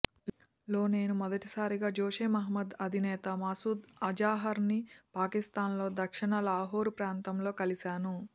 లో నేను మొదటిసారిగా జైషే మొహమ్మద్ అధినేత మసూద్ అజహర్ ని పాకిస్తాన్ లో దక్షిణ లాహోరు ప్రాంతంలో కలిసాను